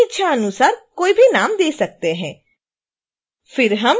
आप अपनी इच्छानुसार कोई भी नाम दे सकते हैं